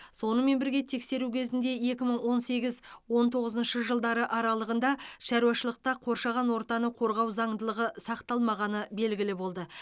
сонымен бірге тексеру кезінде екі мың он сегіз он тоғызыншы жылдары аралығында шаруашылықта қоршаған ортаны қорғау заңдылығы сақталмағаны белгілі болды